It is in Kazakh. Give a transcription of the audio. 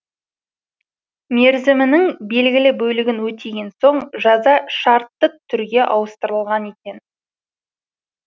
мерзімінің белгілі бөлігін өтеген соң жаза шартты түрге ауыстырылған екен